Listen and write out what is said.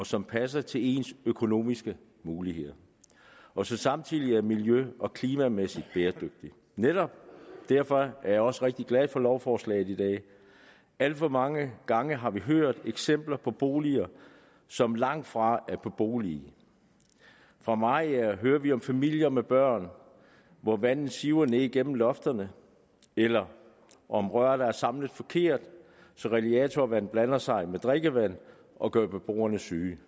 som passer til ens økonomiske muligheder og som samtidig er miljø og klimamæssigt bæredygtigt netop derfor er jeg også rigtig glad for lovforslaget i dag alt for mange gange har vi hørt eksempler på boliger som langtfra er beboelige fra mariager hører vi om familier med børn hvor vandet siver ned igennem lofterne eller om rør der er samlet forkert så radiatorvand blander sig med drikkevand og gør beboerne syge